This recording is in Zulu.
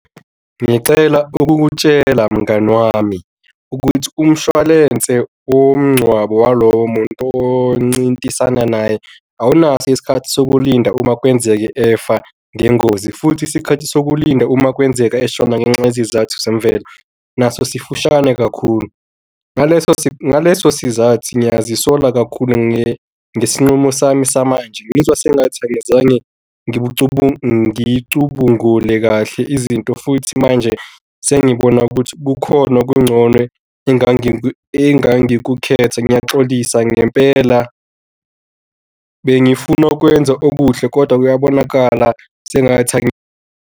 Ngicela ukukutshela, mngani wami ukuthi umshwalense womngcwabo walowo muntu oncintisana naye awunaso isikhathi sokulinda, uma kwenzeka efa ngengozi. Futhi isikhathi sokulinda uma kwenzeka eshona ngenxa yezizathu zemvelo naso sifishane kakhulu. Ngaleso ngaleso sizathu ngiyazisola kakhulu ngesinqumo sami samanje. Ngizwa sengathi angizange ngicubungule kahle izinto, futhi manje sengibona ukuthi kukhona okungcono engangikukhetha, ngiyaxolisa ngempela, bengifuna ukwenza okuhle kodwa kuyabonakala sengathi .